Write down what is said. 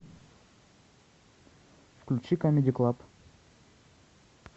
включи камеди клаб